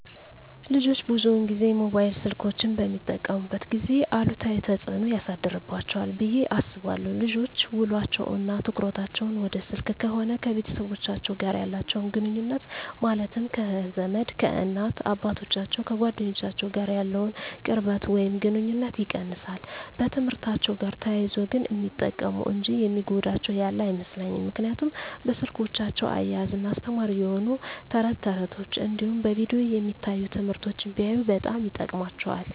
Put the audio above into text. ልጆች ብዙን ጊዜ ሞባይል ስልኮችን በሚጠቀሙበት ጊዜ አሉታዊ ተፅዕኖ ያሳድርባቸዋል ብየ አስባለው ልጆች ውሎቸው እና ትኩረታቸውን ወደ ስልክ ከሆነ ከቤተሰቦቻቸው ጋር ያላቸውን ግኑኙነት ማለትም ከዘመድ፣ ከእናት አባቶቻቸው፣ ከጓደኞቻቸው ጋር ያለውን ቅርበት ወይም ግኑኝነት ይቀንሳል። በትምህርትአቸው ጋር ተያይዞ ግን ሚጠቀሙ እንጂ የሚጎዳቸው ያለ አይመስለኝም ምክንያቱም በስልኮቻቸው እያዝናና አስተማሪ የሆኑ ተረት ተረቶች እንዲሁም በቪዲዮ የሚታዩ ትምህርቶችን ቢያዩ በጣም ይጠቅማቸዋል።